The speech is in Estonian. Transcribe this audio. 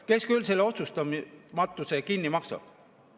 Kes küll selle otsustamatuse kinni maksab?